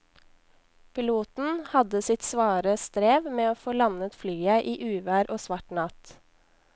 Piloten hadde sitt svare strev med å få landet flyet i uvær og svart natt.